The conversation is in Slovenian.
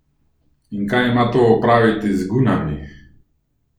In kaj ima to opraviti z gunami?